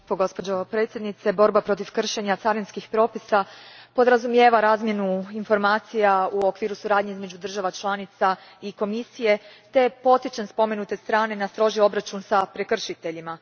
Gospođo predsjednice, borba protiv kršenja carinskih propisa podrazumijeva razmjenu informacija u okviru suradnje između država članica i Komisije te potičem spomenute strane na stroži obračun s prekršiteljima.